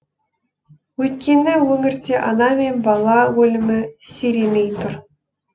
өйткені өңірде ана мен бала өлімі сиремей тұр